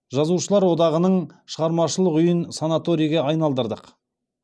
жазушылар одағының шығармашылық үйін санаторийге айналдырдық